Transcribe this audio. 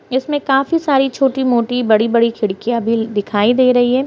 इसमें काफी सारी छोटी-मोटी बड़ी-बड़ी खिड़कियाँ भी ल दिखाई दे रही है।